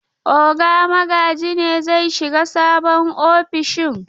Oga Magaji ne zai shiga sabon ofishin.